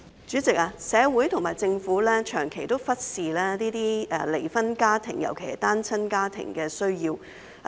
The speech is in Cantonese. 主席，社會和政府長期忽視這些離婚家庭，尤其是單親家庭的需要。